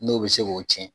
N'o bɛ se k'o tiɲɛ